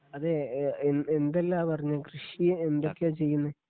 അതെ ഏ എന്തെല്ലാ പറഞ്ഞേ കൃഷി എന്തൊക്കെയാ ചെയ്യുന്നേ?